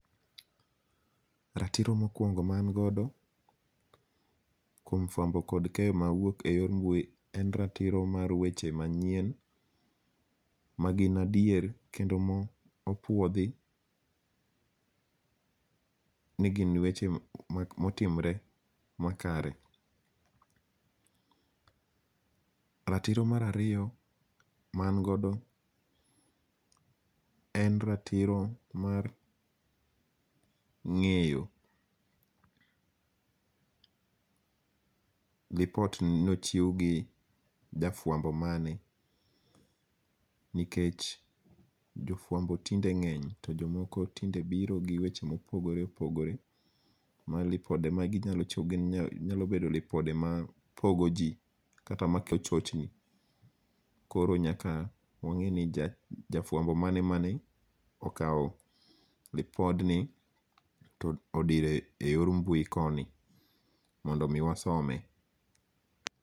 Ratiro mokuongo' ma an godo, kuom fuambo kod keyo mawuok e wor mbui en ratiro mar weche manyien magin adier kendo mopuothi ni gin weche motimre makare. Ratiro marariyo ma angodo en ratiro mar nge'yo report nochiw gi jafuambo mane nikech jofuambo tinde nge'ny to jomoko tinde biro gi weche mopoogore opogore ma ripode maginyalo tiyogo gin nyalo bedo ripode ma pogoji kata mochni karo nyaka wange' ni jafuambo mane ma na okawo repodni todiro e yor mbui koni mondo mi wasome